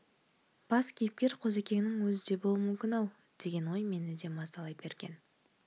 бас кейіпкер қозыкеңнің өзі де болуы мүмкін-ау деген ой мені де мазалай берген